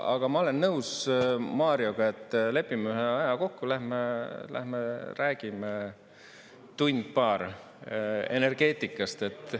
Aga ma olen nõus Marioga, et lepime ühe aja kokku, lähme räägime tund-paar energeetikast.